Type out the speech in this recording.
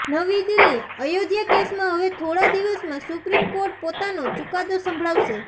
નવી દિલ્હીઃ અયોધ્યા કેસમાં હવે થોડા દિવસમાં સુપ્રીમ કોર્ટ પોતાનો ચૂકાદો સંભળાવશે